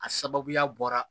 A sababuya bɔra